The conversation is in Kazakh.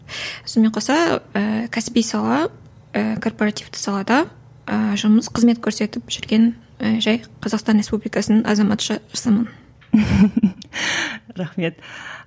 сонымен қоса ііі кәсіби сала ііі корпоративті салада ы жұмыс қызмет көрсетіп жүрген і жай қазақстан республикасының азаматшасымын рахмет